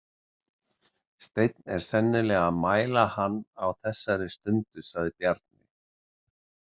Steinn er sennilega að mæla hann á þessari stundu, sagði Bjarni.